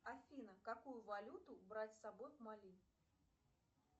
афина какую валюту брать с собой в мали